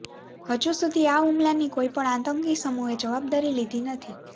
હજુ સુધી આ હુમલાની કોઇ પણ આતંકી સમૂહે જવાબદારી લીધી નથી